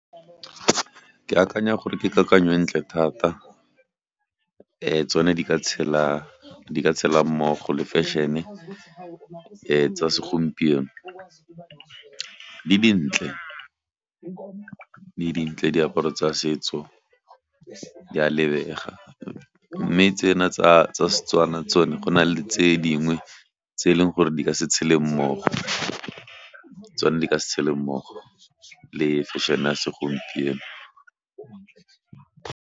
Ke akanya gore ke kakanyo e ntle thata, tsone di ka tshela, di ka tshela mmogo le feshene tsa segompieno, di dintle, di dintle diaparo tsa setso di a lebega mme tsena tsa Setswana tsone go na le tse dingwe tse e leng gore di ka se tshele mmogo tsone di ka se tshele mmogo le feshene ya segompieno.